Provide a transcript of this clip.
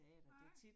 Nej